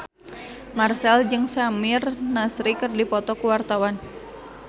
Marchell jeung Samir Nasri keur dipoto ku wartawan